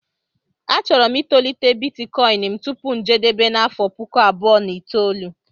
Achọrọ m itolite Bitikoin m tupu njedebe n' afọ puku abụọ na itoolu